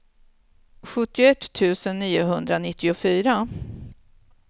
sjuttioett tusen niohundranittiofyra